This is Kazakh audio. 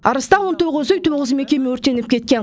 арыста он тоғыз үй тоғыз мекеме өртеніп кеткен